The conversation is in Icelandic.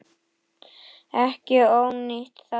Ekki ónýtt það.